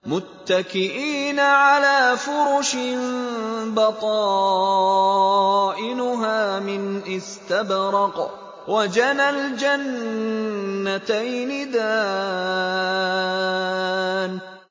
مُتَّكِئِينَ عَلَىٰ فُرُشٍ بَطَائِنُهَا مِنْ إِسْتَبْرَقٍ ۚ وَجَنَى الْجَنَّتَيْنِ دَانٍ